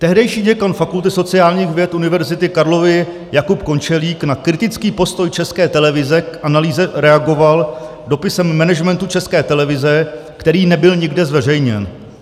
Tehdejší děkan Fakulty sociálních věd Univerzity Karlovy Jakub Končelík na kritický postoj České televize k analýze reagoval dopisem managementu České televize, který nebyl nikde zveřejněn.